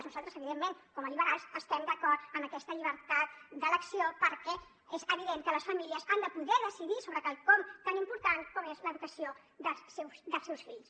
nosaltres evidentment com a liberals estem d’acord amb aquesta llibertat d’elecció perquè és evident que les famílies han de poder decidir sobre quelcom tan important com és l’educació dels seus fills